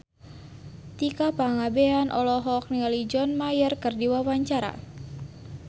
Tika Pangabean olohok ningali John Mayer keur diwawancara